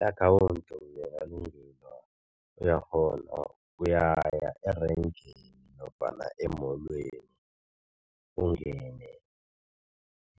I-akhawundi uyakghona uyaya erengeni nofana emolweni, ungene